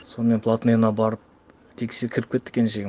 сонымен платныйына барып кіріп кетті келіншегім